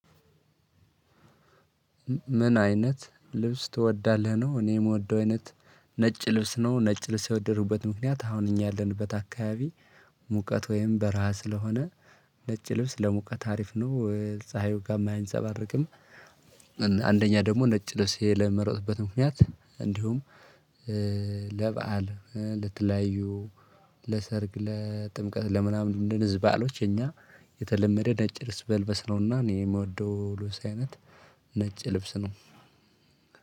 ምን አይነት ልብስ ትወዳለህ ነው? እኔ የምወደው አይነት ነጭ ልብስ ነው። ነጭ ልብስ የወደድኩት ምክንያት አሁን እኛ ያለንበት አካባቢ ሙቀት ወይም በራሃ ስለሆነ ነጭ ልብስ ለሙቀት አሪፍ ነው ፀሀዩ ጋርም አያንፀባረቅም። አንደኛ ደግሞ ነጭ ልብስ የመረጥኩበት ምክንያት እንዲሁም ለበአል ለተለያዩ ለሰርግ ለጥምቀት ለምናምን እንደነዚህ ባአሎች የኛ የተለመደ ነጭ ልብስ በል ነውና። እኔ የምወደው ልብስ አይነት ነጭ ልብስ ነው።